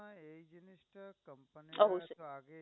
অবশ্যই।